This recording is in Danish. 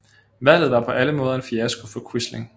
Valget var på alle måder en fiasko for Quisling